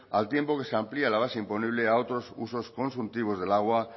al tiempo que se amplía la base imponible a otros usos consultivos del agua